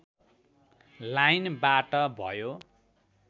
लाइनबाट भयो